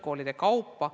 Hea minister!